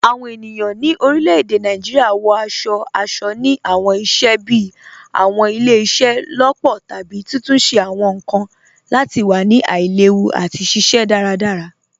Awọn ènìyàn ni orílẹ̀-èdè Nàìjíríà wọ̀ aṣọ̀-aṣọ̀ ni awọn ìṣẹ̀ bíí awọn ìlẹ̀-ìṣẹ̀-lọpọ̀ tàbí títúnṣẹ̀ awọn nkan lati wà ni aìlèwú àti ṣiṣẹ̀ daradara.